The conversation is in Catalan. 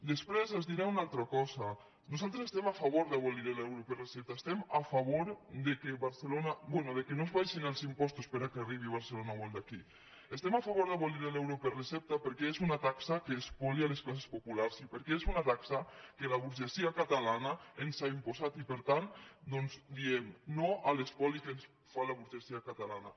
després els diré una altra cosa nosaltres estem a fa·vor d’abolir l’euro per recepta estem a favor que no es baixin els impostos perquè arribi a barcelona o al d’aquí estem a favor d’abolir l’euro per recepta perquè és una taxa que espolia les classes populars i perquè és una taxa que la burgesia catalana ens ha impostat i per tant diem no a l’espoli que ens fa la burgesia ca·talana